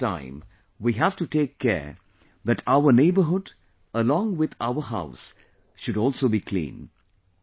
But during this time we have to take care that our neighbourhood along with our house should also be clean